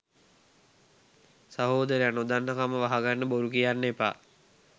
සහොදරයා නොදන්නකම වහගන්න බොරු කියන්න එපා